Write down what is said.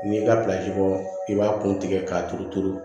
N'i ka bɔ i b'a kun tigɛ k'a turu turu